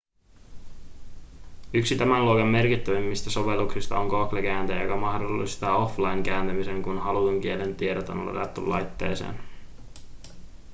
yksi tämän luokan merkittävimmistä sovelluksista on google kääntäjä joka mahdollistaa offline-kääntämisen kun halutun kielen tiedot on ladattu laitteeseen